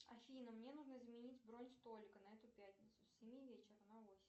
афина мне нужно изменить бронь столика на эту пятницу с семи вечера на восемь